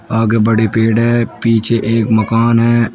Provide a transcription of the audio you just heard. आगे बड़े पेड़ है पीछे एक मकान है।